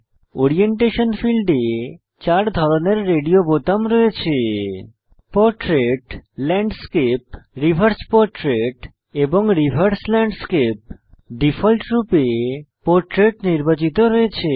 orientation ফীল্ডে চার ধরনের রেডিও রয়েছে পোর্ট্রেট ল্যান্ডস্কেপ রিভার্স পোর্ট্রেট এবং রিভার্স ল্যান্ডস্কেপ ডিফল্টরূপে পোর্ট্রেট নির্বাচিত রয়েছে